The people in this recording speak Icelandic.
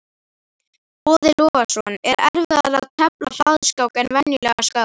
Boði Logason: Er erfiðara að tefla hraðskák en venjulega skák?